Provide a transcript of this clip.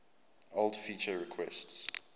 old feature requests